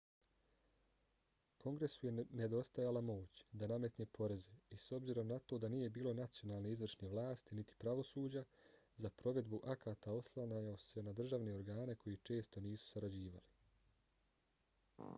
kongresu je nedostajala moć da nametne poreze i s obzirom na to da nije bilo nacionalne izvršne vlasti niti pravosuđa za provedbu akata oslanjao se na državne organe koji često nisu sarađivali